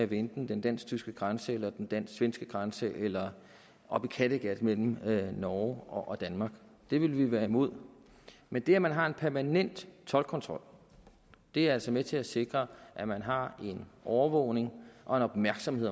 ved enten den dansk tyske grænse eller den dansk svenske grænse eller oppe i kattegat mellem norge og danmark det ville vi være imod men det at man har en permanent toldkontrol er altså med til at sikre at man har en overvågning og en opmærksomhed